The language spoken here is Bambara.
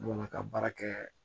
Bolima ka baara kɛ